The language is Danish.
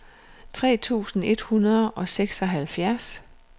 tre tusind et hundrede og seksoghalvfjerds